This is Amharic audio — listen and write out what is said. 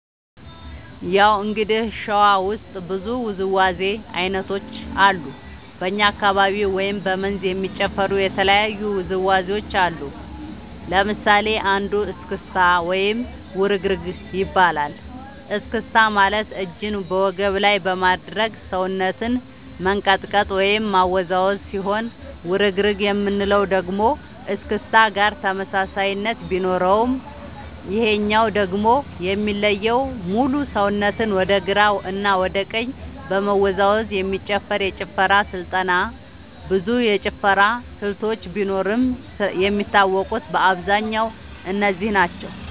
ያው እንግዲህ ሸዋ ውስጥ ብዙ ውዝዋዜ ዐይነቶች አሉ በኛ አካባቢ ወይም በ መንዝ የሚጨፈሩ የተለያዩ ውዝዋዜዎች አሉ ለምሳሌ አንዱ እስክታ ወይም ውርግርግ ይባላል እስክስታ ማለት እጅን በወገብ ላይ በማድረግ ሰውነትን መንቀጥቀጥ ወይም ማወዛወዝ ሲሆን ውርግርግ የምንለው ደግሞ እስክስታ ጋር ተመሳሳይነት ቢኖረውም ይሄኛው ደግሞ የሚለየው ሙሉ ሰውነትን ወደ ግራ እና ወደ ቀኝ በመወዛወዝ የሚጨፈር የጭፈራ ስልጠና ብዙ የጭፈራ ስልቶች ቢኖርም የሚታወቁት በአብዛኛው እነዚህ ናቸው።